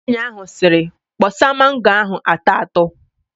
Nwaanyị ahụ sịrị, "kpọsa mango ahụ atọ atọ"!